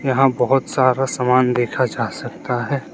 यहां बहोत सारा सामान देखा जा सकता है।